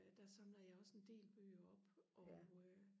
der samler jeg også en del bøger op og øh